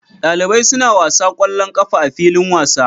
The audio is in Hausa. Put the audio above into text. Dalibai suna wasa kwallon ƙafa a filin wasa